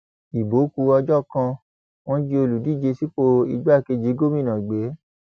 ibo kù ọjọ kan wọn jí olùdíje sípò igbákejì gómìnà gbé